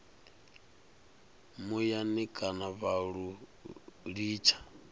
muyani kana vha lu litsha